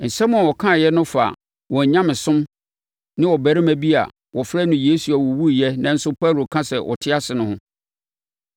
Nsɛm a wɔkaeɛ no fa wɔn nyamesom ne ɔbarima bi a wɔfrɛ no Yesu a ɔwuiɛ nanso Paulo ka sɛ ɔte ase no ho.